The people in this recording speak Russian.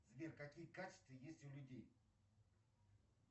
сбер какие качества есть у людей